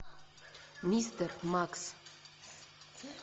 мистер макс